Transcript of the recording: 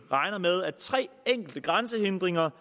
at tre enkelte grænsehindringer